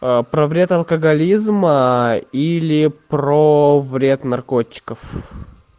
про вред алкоголизма или про вред наркотиков